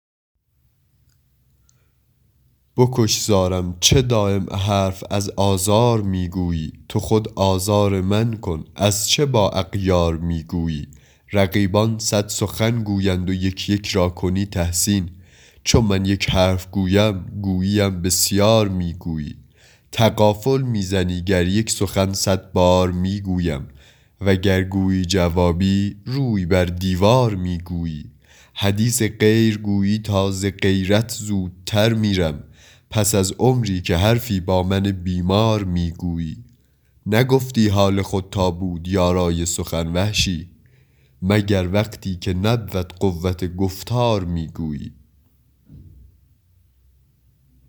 بکش زارم چه دایم حرف از آزار می گویی تو خود آزار من کن از چه با اغیار می گویی رقیبان صد سخن گویند و یک یک را کنی تحسین چو من یک حرف گویم گوییم بسیار می گویی تغافل می زنی گر یک سخن صد بار می گویم و گر گویی جوابی روی بر دیوار می گویی حدیث غیر گویی تا ز غیرت زودتر میرم پس از عمری که حرفی با من بیمار می گویی نگفتی حال خود تا بود یارای سخن وحشی مگر وقتی که نبود قوت گفتار می گویی